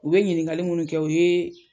U be ɲiniŋali munnu kɛ o yee